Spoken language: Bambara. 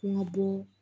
Kun ka bɔ